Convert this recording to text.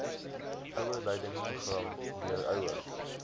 ouerleidingsprogram leer ouers